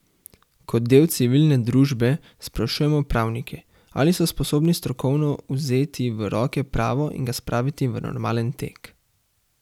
Kot del civilne družbe sprašujemo pravnike, ali so sposobni strokovno vzeti v roke pravo in ga spraviti v normalen tek?